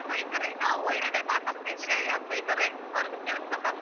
ಬೈತಾರೆ ನಾವು ಒಳ್ಳೇದೇ ಮಾಡ್ಬೆಕು ಅಂತ ಇದ್ರೆ ಯಾಕ್ ಬೈತಾರೆ ಅವ್ರಿಗೆ ತಿಳ್ಸ್ಬೇಕು ಅಷ್ಟೇ.